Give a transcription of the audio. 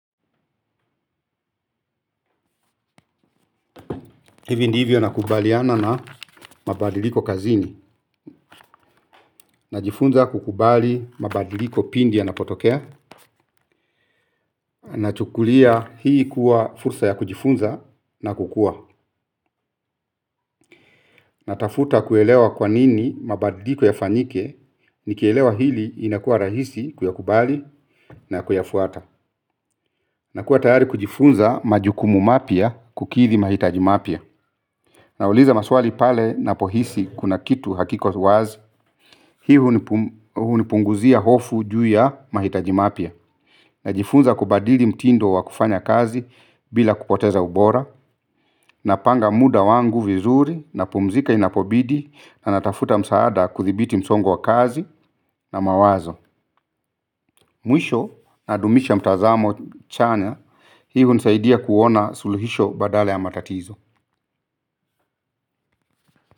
Hivi ndivyo nakubaliana na mabadiliko kazini. Najifunza kukubali mabadiliko pindi yanapotokea. Nachukulia hii kuwa fursa ya kujifunza na kukua. Natafuta kuelewa kwa nini mabadiliko yafanyike. Nikielewa hili inakuwa rahisi kuyakubali na kuyafuata. Nakuwa tayari kujifunza majukumu mapya kukidhi mahitaji mapya. Nauliza maswali pale ninapohisi kuna kitu hakiko wazi. Hii hunipunguzia hofu juu ya mahitaji mapya. Najifunza kubadili mtindo wa kufanya kazi bila kupoteza ubora. Napanga muda wangu vizuri napumzika inapobidi na natafuta msaada kuthibiti msongo wa kazi na mawazo. Mwisho nadumisha mtazamo chanya. Hii hunisaidia kuona suluhisho badala ya matatizo.